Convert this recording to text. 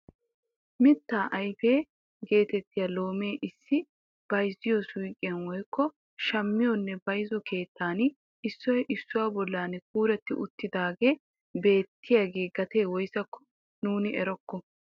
Mittaa ayfe getettiyaa loomee issi bayzziyoo suyqiyaa woykko shammiyoonne bayzziyoo keettan issoy issuwaa bolli kuuretti uttidagee beettiyaaga gatee woysako nuuni erokko.